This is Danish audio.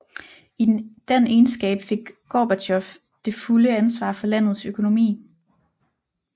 I den egenskab fik Gorbatjov det fulde ansvar for landets økonomi